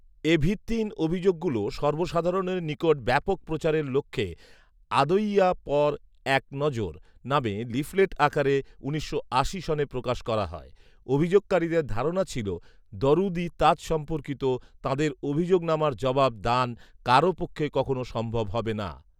এ ভিত্তিহীন অভিযোগগুলো সর্বসাধারণের নিকট ব্যাপক প্রচারের লক্ষ্যে ‘আদঈয়া পর এক নজর’ নামে লিফলেট আকারে উনিশশো আশি সনে প্রকাশ করা হয়, অভিযোগকারীদের ধারণা ছিলো দরুদ ই তাজ সম্পর্কিত তাঁদের অভিযোগনামার জবাব দান কারো পক্ষে কখনো সম্ভব হবে না